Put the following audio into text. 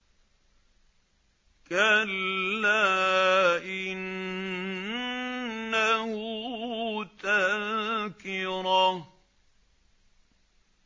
كَلَّا إِنَّهُ تَذْكِرَةٌ